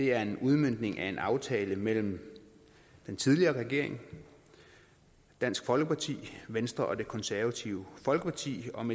er en udmøntning af en aftale mellem den tidligere regering dansk folkeparti venstre og det konservative folkeparti om